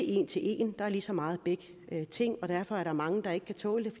en til en der er lige meget af begge ting og derfor er der mange der ikke kan tåle